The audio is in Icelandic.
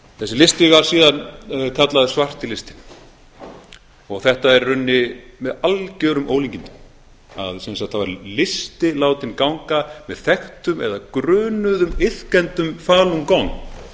þessi listi var síðan kallaður svarti listinn og þetta er í rauninni með algjörum ólíkindum að sem sagt það var listi látinn ganga með þekktum eða grunuðum iðkendum falun gong